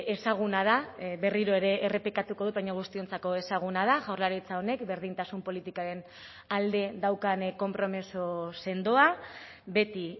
ezaguna da berriro ere errepikatuko dut baina guztiontzako ezaguna da jaurlaritza honek berdintasun politikaren alde daukan konpromiso sendoa beti